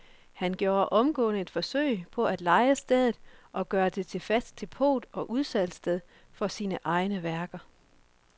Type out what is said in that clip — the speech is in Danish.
Han gjorde omgående et forsøg på at leje stedet og gøre det til fast depot og udsalgssted for sine egne værker.